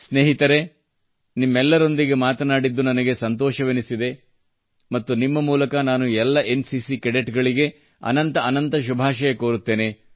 ಸ್ನೇಹಿತರೇ ನಿಮ್ಮೆಲ್ಲರೊಂದಿಗೆ ಮಾತನಾಡಿದ್ದು ನನಗೆ ಸಂತೋಷವೆನಿಸಿದೆ ಮತ್ತು ನಿಮ್ಮ ಮೂಲಕ ನಾನು ಎಲ್ಲ ಎನ್ ಸಿ ಸಿ ಕೆಡೆಟ್ಸ್ಗಳಿಗೆ ಅನಂತ ಅನಂತ ಶುಭಾಷಯ ಕೋರುತ್ತೇನೆ